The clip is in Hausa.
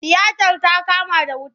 Tiyatar ta kama da wuta.